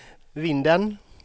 Vindeln